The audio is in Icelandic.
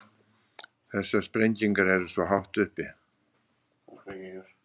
Þessar sprengingar eru svo hátt uppi.